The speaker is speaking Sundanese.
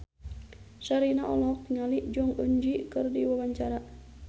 Sherina olohok ningali Jong Eun Ji keur diwawancara